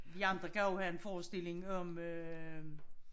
I andre kan jo have en forestilling om øh